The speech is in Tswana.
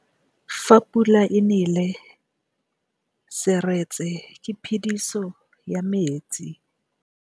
Fa pula e nelê serêtsê ke phêdisô ya metsi.